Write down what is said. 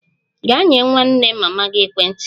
Gaa nye nwanne mama gị ekwentị ya!